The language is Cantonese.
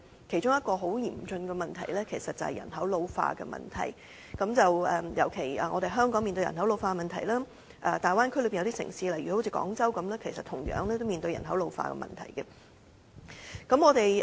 其中一個很嚴峻的問題，就是人口老化的問題，香港面對人口老化的問題，而大灣區內有些城市，例如廣州，同樣面對人口老化的問題。